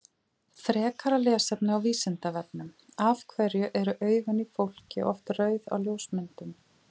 Frekara lesefni á Vísindavefnum Af hverju eru augun í fólki oft rauð á ljósmyndum?